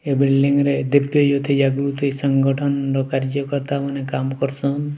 ଏ building ରେ ଦିପ୍ତି ଯୁକ୍ତି ଜାଗୃତି ସଂଗଠନର କାର୍ଯ୍ୟ କର୍ତ୍ତା ମାନେ କାମ କରୁ ସନ୍।